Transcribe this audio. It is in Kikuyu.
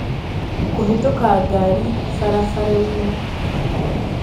Kũhĩtũka ngari barabara-inĩ.